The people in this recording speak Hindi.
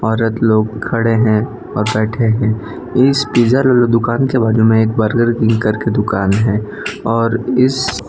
औरत लोग खड़े हैं और बैठे हैं इस पिज्जर दुकान के बाजू में एक बर्गर किंग कर के दुकान है और इस --